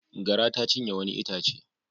Gara ta cinye wani itace.